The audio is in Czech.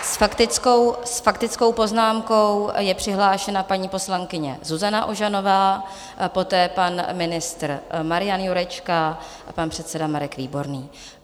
S faktickou poznámkou je přihlášena paní poslankyně Zuzana Ožanová, poté pan ministr Marian Jurečka a pan předseda Marek Výborný.